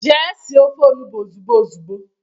Jee sie ofe onugbo ozugbo ozugbo!